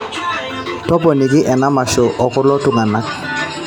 toponiki ena masho okulo tungana